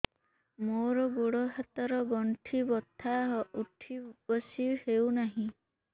ମୋର ଗୋଡ଼ ହାତ ର ଗଣ୍ଠି ବଥା ଉଠି ବସି ହେଉନାହିଁ